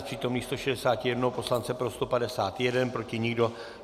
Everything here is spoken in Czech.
Z přítomných 161 poslance pro 151, proti nikdo.